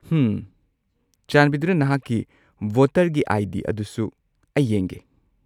ꯍꯝ꯫ ꯆꯥꯟꯕꯤꯗꯨꯅ ꯅꯍꯥꯛꯀꯤ ꯚꯣꯇꯔꯒꯤ ꯑꯥꯏ.ꯗꯤ. ꯑꯗꯨꯁꯨ ꯑꯩ ꯌꯦꯡꯒꯦ꯫